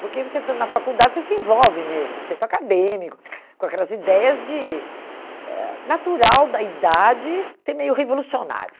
Porque você, estando na faculdade, você se envolve mesmo com o setor acadêmico, com aquelas ideias de... Eh natural da idade ser meio revolucionário.